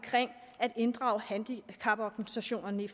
at inddrage handicaporganisationerne i